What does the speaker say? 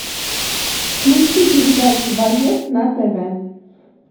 включи передачу боец на тв